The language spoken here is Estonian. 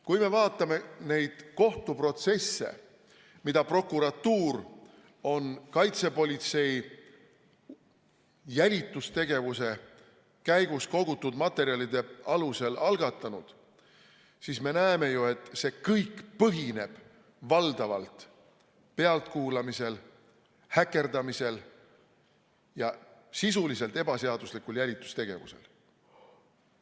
Kui me vaatame neid kohtuprotsesse, mida prokuratuur on kaitsepolitsei jälitustegevuse käigus kogutud materjalide alusel algatanud, siis me näeme, et see kõik põhineb valdavalt pealtkuulamisel, häkkimisel ja sisuliselt ebaseaduslikul jälitustegevusel.